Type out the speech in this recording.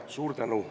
Suur tänu!